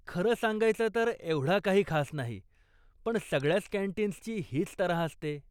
खरं सांगायचं तर एवढा काही खास नाही, पण सगळ्याच कॅन्टीन्सची हीच तऱ्हा असते.